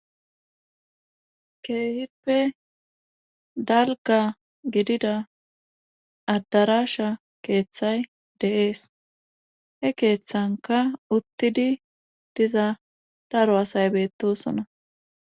Keehippe dalgga gidida adddaraasha keethay de7ees he keethankka uttidi diza daro asay beettoosona.